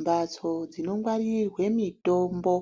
Mbatso dzino ngwaririrwe mitombo